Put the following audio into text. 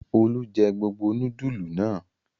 Olú jẹ gbogbo núdúlù náà?